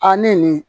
A ne nin